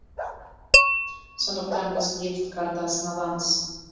сондықтан біз лифт картасын аламыз